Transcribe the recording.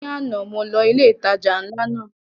Ní àná mo lọ ilé ìtajà ńlá náà